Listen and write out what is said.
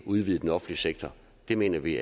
udvide den offentlige sektor det mener vi